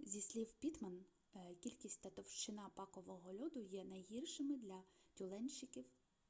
зі слів піттман кількість та товщина пакового льоду є найгіршими для тюленщиків